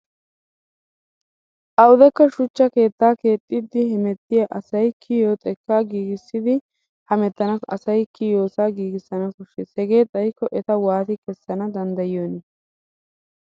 Awudekka shuchcha keettaa keexxiiddi hemettiya asay kiyiyo xekkaa giigissiddi hamettenna asayikka kiyiyoosaa giigissana koshshes. Hegee xayikko eta wati kessana danddiyiyoonii?